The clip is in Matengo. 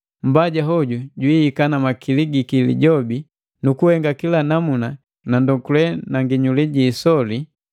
Mmbaja hoju jwihika na makili giki lijobi nu kuhenga kila namuna ja ndonduke na nginyuli gi isoli,